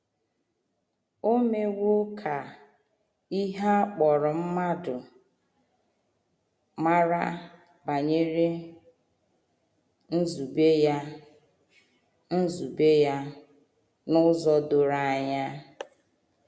O mewo ka ihe a kpọrọ mmadụ mara banyere nzube ya nzube ya n’ụzọ doro anya.